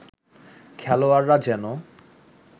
খেলোয়াড়রা যেন